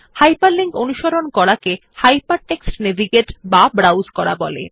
hyperlink অনুসরণ করাকে hypertext navigate অথবা ব্রাউজ করা বলে